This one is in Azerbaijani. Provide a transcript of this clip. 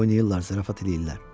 Oynayırlar, zarafat eləyirlər.